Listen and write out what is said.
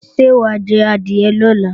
Ṣé wà á jadìẹ lọ́la?